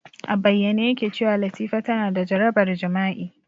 A bayyane yake cewa Latifa tana da jarabar jima'i.